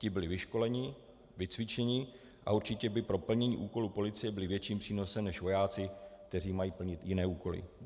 Ti byli vyškoleni, vycvičeni a určitě by pro plnění úkolů policie byli větším přínosem než vojáci, kteří mají plnit jiné úkoly.